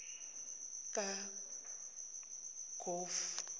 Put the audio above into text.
kaqove